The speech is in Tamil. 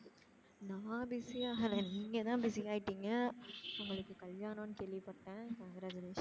நான் busy ஆகல நீங்க தான் busy ஆய்டிங்க? உங்களுக்கு கல்யாணம்னு கேள்வி பட்டேன் congratulations.